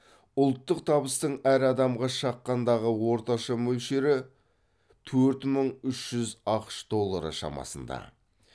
ұлттық табыстың әр адамға шаққандағы орташа мөлшері төрт мың үш жүз ақш доллары шамасында